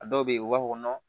A dɔw be yen u b'a fɔ